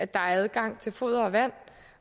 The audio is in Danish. der er adgang til foder og vand